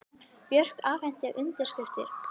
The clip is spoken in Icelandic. Björk afhenti undirskriftir